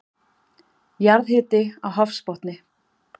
Jarðhiti á hafsbotni